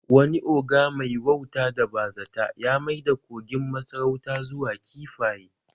Wani ogre mai wauta da bazata ya maida kogin masarauta zuwa kifaye